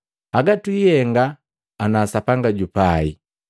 Haga twiihenga ana Sapanga jupai.